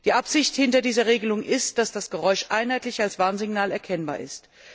Die Absicht hinter dieser Regelung ist, dass das Geräusch einheitlich als Warnsignal erkennbar ist.